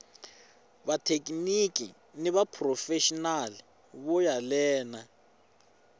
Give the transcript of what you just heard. vathekiniki ni vaphurofexinali vo yelana